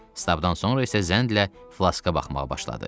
Stabdan sonra isə zəndlə flaska baxmağa başladı.